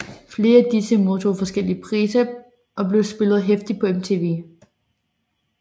Flere af disse modtog forskellige priser og blev spillet heftigt på MTV